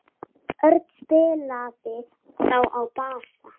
Örn spilaði þá á bassa.